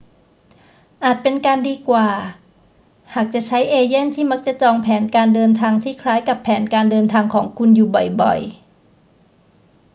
อาจเป็นการดีกว่าหากจะใช้เอเย่นต์ที่มักจะจองแผนการเดินทางที่คล้ายกับแผนการเดินทางของคุณอยู่บ่อย ๆ